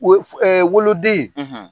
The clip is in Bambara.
O ye f ,woloden